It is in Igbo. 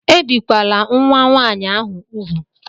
Ebìkwala nwa nwaanyị ahụ úgwù!